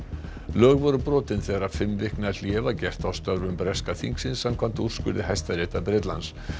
lög voru brotin þegar fimm vikna hlé var gert á störfum breska þingsins samkvæmt úrskurði hæstaréttar Bretlands